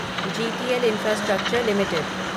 GTL infrastructure limited